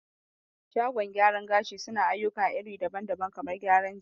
Shagon gyaran gashi suna ayyuka iri daban daban, kamar gyaran jiki